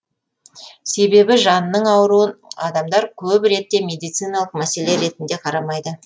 себебі жанының ауруын адамдар көп ретте медициналық мәселе ретінде қарамайды